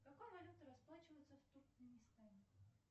какой валютой расплачиваются в туркменистане